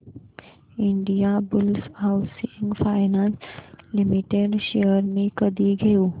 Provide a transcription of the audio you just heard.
Indiabulls housing finance limited shares मी कधी घेऊ